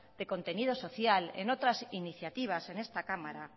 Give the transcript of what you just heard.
de contenido social en otras iniciativas en esta cámara